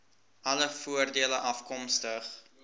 alle voordele afkomstig